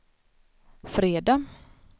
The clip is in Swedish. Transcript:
fredag